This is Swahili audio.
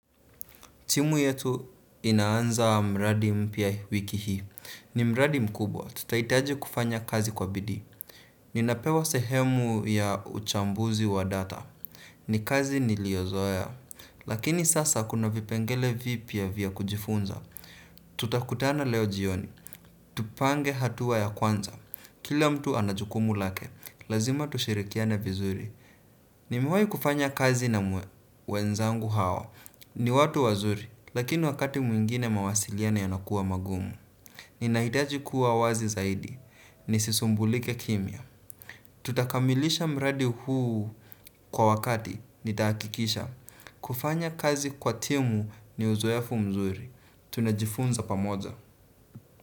Timu yetu inaanza mradi mpya wiki hii. Ni mradi mkubwa. Tutahitaji kufanya kazi kwa bidii. Ninapewa sehemu ya uchambuzi wa data. Ni kazi niliozoea. Lakini sasa kuna vipengele vipya vya kujifunza. Tutakutana leo jioni. Tupange hatua ya kwanza. Kila mtu ana jukumu lake. Lazima tushirikiane vizuri. Nimewahi kufanya kazi na wenzangu hawa. Ni watu wazuri. Lakini wakati mwingine mawasiliano yanakuwa magumu. Ninahitaji kuwa wazi zaidi. Nisisumbulike kimya. Tutakamilisha mradi huu kwa wakati nitahakikisha. Kufanya kazi kwa timu ni uzoefu mzuri. Tunajifunza pamoja.